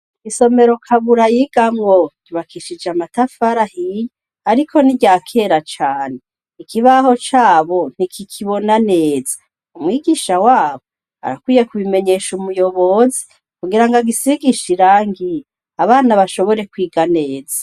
Isomero Kabura yigamwo ryubakishije amatafari ahiye ariko n'iryakera cane, ikibaho cabo ntikikibona neza, umwigisha wabo arakwiye kubimenyesha umuyobozi kugira ngo agisigishe irangi abana bashobore kwiga neza.